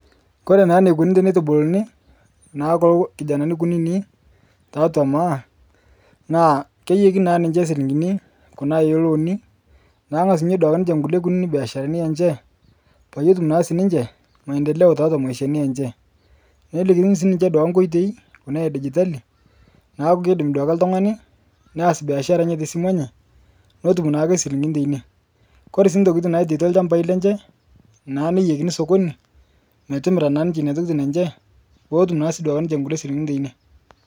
Kore naa neikuni teneitubuluni naa kulo kijanani kunini taatwa Maa naa keiyekini naa ninche silinkini kuna elooni naang'asunye duake ninche nkule kunini beasharani enche payie etum sii ninche mandeleo taatwa maishani enche. Nelikini sii ninche duake nkoitoi kuna edijitali naaku keidim duake ltung'ani neas biashara enye tesimu enye netum naake silinkini teine. Kore sii ntokitin naitaitwa lchambai lenche naa neiyekini sokoni metimira naa ninche neina tokitin enche pootum naa sii duake ninche nkule silinkini teine.